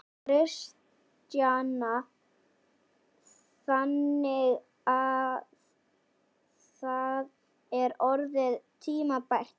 Kristjana: Þannig að það er orðið tímabært núna?